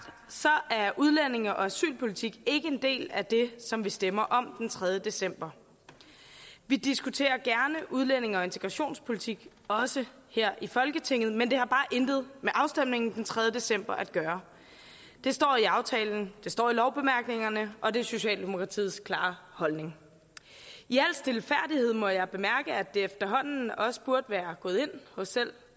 så er udlændinge og asylpolitik ikke en del af det som vi stemmer om den tredje december vi diskuterer gerne udlændinge og integrationspolitik også her i folketinget men det har bare intet med afstemningen den tredje december at gøre det står i aftalen det står i lovbemærkningerne og det er socialdemokratiets klare holdning i al stilfærdighed må jeg bemærke at det efterhånden også burde være gået ind hos selv